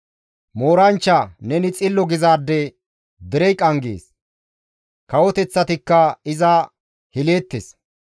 Mooranchcha, «Neni xillo» gizaade derey qanggees; kawoteththatikka iza hileettes.